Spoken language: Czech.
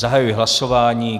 Zahajuji hlasování.